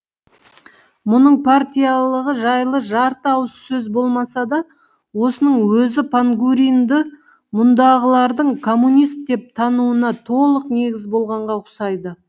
мұның партиялылығы жайлы жарты ауыз сөз болмаса да осының өзі пангуринді мұндағылардың коммунист деп тануына толық негіз болғанға ұқсайды